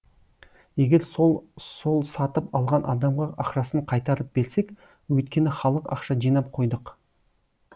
егер сол сол сатып алған адамға ақшасын қайтарып берсек өйткені халық ақша жинап қойдық